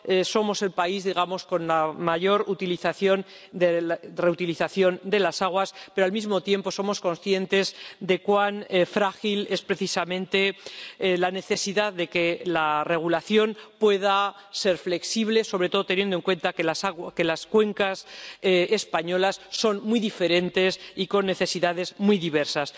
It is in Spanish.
Somos el país con la mayor reutilización de las aguas, pero al mismo tiempo somos conscientes de cuán frágil es precisamente la necesidad de que la regulación pueda ser flexible, sobre todo teniendo en cuenta que las cuencas españolas son muy diferentes y con necesidades muy diversas.